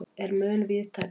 er mun víðtækari.